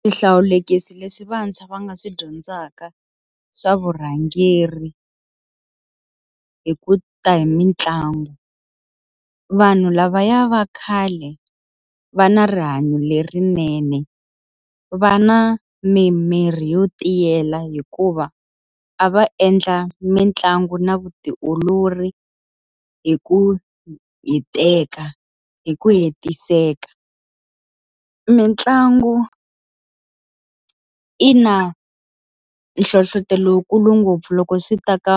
Swihlawulekisi leswi vantshwa va nga swi dyondzaka swa vurhangeri hi ku ta hi mitlangu. Vanhu lavaya va khale, va na rihanyo lerinene. Va na mimiri yo tiyela hikuva a va endla mitlangu na vutiolori hi ku hiteka hi ku hetiseka. Mintlangu yi na nhlohletelo wu kulu ngopfu loko swi ta ka